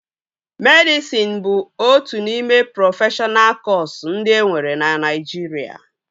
Medịsịn bụ otu n'ime prọfeshọna kọsu ndị enwere na Naịjirịa